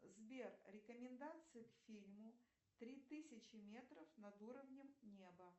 сбер рекомендации к фильму три тысячи метров над уровнем неба